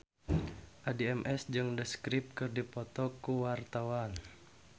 Addie MS jeung The Script keur dipoto ku wartawan